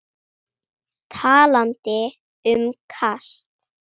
Talandi um kast.